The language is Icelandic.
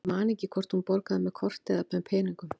Ég man ekki hvort hún borgaði með korti eða með peningum.